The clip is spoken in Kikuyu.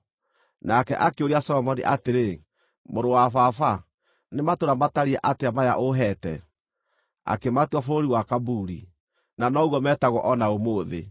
Nake akĩũria Solomoni atĩrĩ, “Mũrũ wa baba, nĩ matũũra matariĩ atĩa maya ũũheete?” Akĩmatua Bũrũri wa Kabuli, na noguo metagwo o na ũmũthĩ.